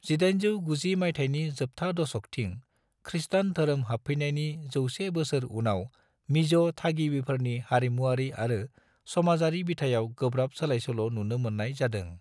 1890 मायथाइनि जोबथा दशकथिं खृष्टान धोरोम हाबफैनायनि 100 बोसोर उनाव मिज' थागिबिफोरनि हारिमुआरि आरो समाजारि बिथायाव गोब्राब सोलायसोल' नुनो मोननाय जादों।